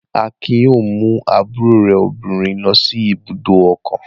Akin yóò mú àbúrò rẹ̀ obìnrin lọ ibùdó ọkọ̀.